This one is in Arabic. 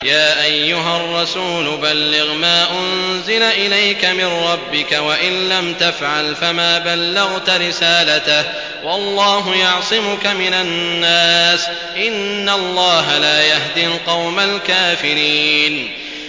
۞ يَا أَيُّهَا الرَّسُولُ بَلِّغْ مَا أُنزِلَ إِلَيْكَ مِن رَّبِّكَ ۖ وَإِن لَّمْ تَفْعَلْ فَمَا بَلَّغْتَ رِسَالَتَهُ ۚ وَاللَّهُ يَعْصِمُكَ مِنَ النَّاسِ ۗ إِنَّ اللَّهَ لَا يَهْدِي الْقَوْمَ الْكَافِرِينَ